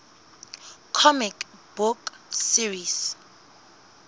comic book series